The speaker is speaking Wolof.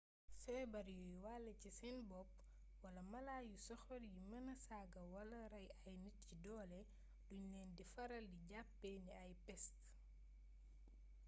feebar yuy wàllé ci seen bopp wala mala yu soxor yi mëna saaga wala rey ay nit ci doole duñ leen di faral di jàppee ni ay pest